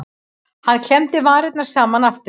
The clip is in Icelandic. Hann klemmdi varirnar saman aftur.